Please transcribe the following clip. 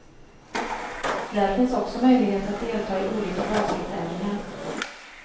Där finns också möjlighet att delta i olika baskettävlingar.